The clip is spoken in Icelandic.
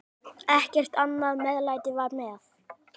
Ekkert annað meðlæti var með.